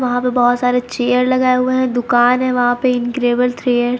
वहां पे बहुत सारे चेयर लगाए हुए हैं दुकान है वहां पे इनक्रेडिबल थ्रेड्स --